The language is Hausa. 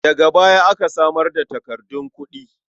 Daga baya aka samar da takardun kuɗi.